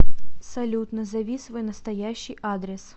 салют назови свой настоящий адрес